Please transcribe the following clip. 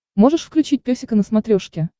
можешь включить песика на смотрешке